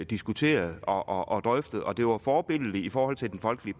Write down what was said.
diskuteret og og drøftet det var forbilledligt i forhold til den folkelige